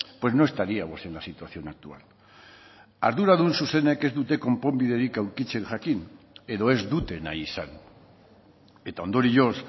pues no estaríamos en la situación actual arduradun zuzenek ez dute konponbiderik aurkitzen jakin edo ez dute nahi izan eta ondorioz